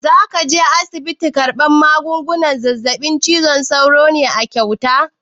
Za ka je asibitin karɓan maganin zazzaɓin cizon sauro ne a kyauta?